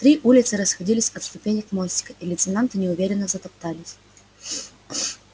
три улицы расходились от ступенек мостика и лейтенанты неуверенно затоптались